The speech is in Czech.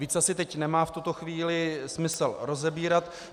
Víc asi teď nemá v tuto chvíli smysl rozebírat.